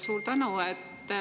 Suur tänu!